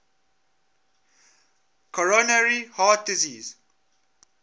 coronary heart disease